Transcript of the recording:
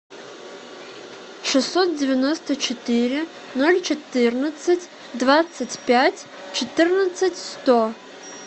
шестьсот девяносто четыре ноль четырнадцать двадцать пять четырнадцать сто